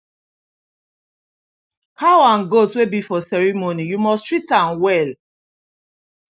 cow and goat wey be for ceremony you must treat am well